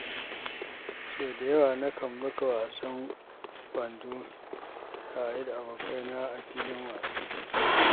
Sau da yawa nakan buga wasan kwando tare da abokaina a filin wasa.